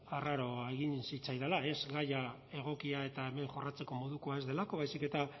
arraroa egin zitzaidala ez gaia egokia eta hemen jorratzeko modukoa ez delako baizik eta